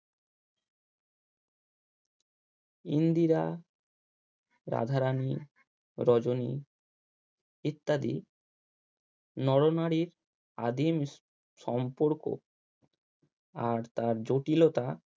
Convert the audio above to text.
ইন্দ্রিরা রাধারানী, রজনী ইত্যাদি নরনারীর আদিম সম্পর্ক আর তার জটিলতা